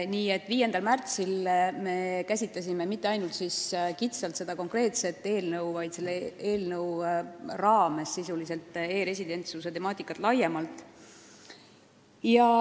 Nii et 5. märtsil ei käsitlenud me mitte ainult kitsalt seda konkreetset eelnõu, vaid e-residentsuse temaatikat laiemalt.